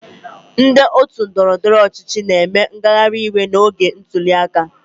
Ndị otu ndọrọndọrọ ọchịchị na-eme ngagharịiwe n'oge ntuli aka.